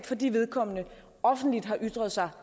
fordi vedkommende offentligt har ytret sig